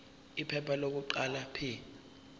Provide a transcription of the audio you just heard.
iphepha lokuqala p